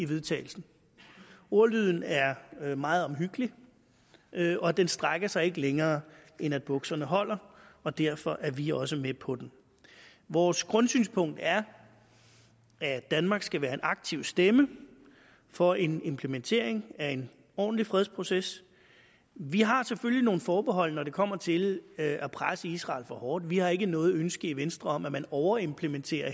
vedtagelse ordlyden er meget omhyggelig og den strækker sig ikke længere end at bukserne holder og derfor er vi også med på den vores grundsynspunkt er at danmark skal være en aktiv stemme for en implementering af en ordentlig fredsproces vi har selvfølgelig nogle forbehold når det kommer til at presse israel for hårdt vi har heller ikke noget ønske i venstre om at man overimplementerer